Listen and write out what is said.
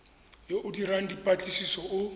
yo o dirang dipatlisiso o